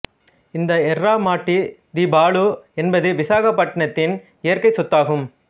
இந்த எர்ரா மாட்டி திபாலு என்பதுவிசாகப்பட்டினத்தின் இயற்கை சொத்து ஆகும்